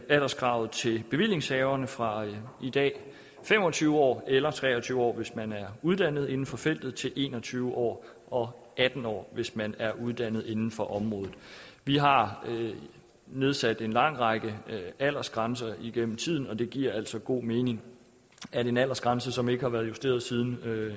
alderskravet til bevillingshaverne fra i dag fem og tyve år eller tre og tyve år hvis man er uddannet inden for feltet til en og tyve år og atten år hvis man er uddannet inden for området vi har nedsat en lang række aldersgrænser igennem tiden og det giver altså god mening at en aldersgrænse som ikke har været justeret siden